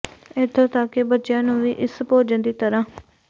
ਇੱਥੋਂ ਤੱਕ ਕਿ ਬੱਚਿਆਂ ਨੂੰ ਵੀ ਇਸ ਭੋਜਨ ਦੀ ਤਰ੍ਹਾਂ